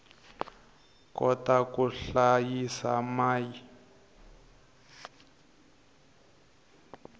kota ku hlayisa mai